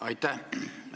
Aitäh!